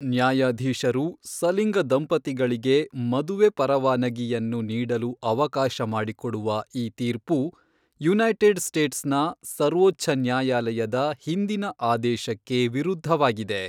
ನ್ಯಾಯಾಧೀಶರು ಸಲಿಂಗ ದಂಪತಿಗಳಿಗೆ ಮದುವೆ ಪರವಾನಗಿಯನ್ನು ನೀಡಲು ಅವಕಾಶ ಮಾಡಿಕೊಡುವ ಈ ತೀರ್ಪು, ಯುನೈಟೆಡ್ ಸ್ಟೇಟ್ಸ್ನ ಸರ್ವೋಚ್ಚ ನ್ಯಾಯಾಲಯದ ಹಿಂದಿನ ಆದೇಶಕ್ಕೆ ವಿರುದ್ಧವಾಗಿದೆ.